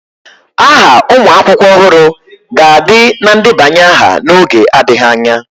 Aha ụmụ akwụkwọ ọhụrụ ga-adị na ndebanye aha n'oge adịghị anya.